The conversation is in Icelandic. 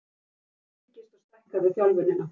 Hjartað styrkist og stækkar við þjálfunina.